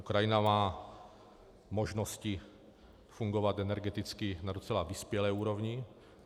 Ukrajina má možnosti fungovat energeticky na docela vyspělé úrovni.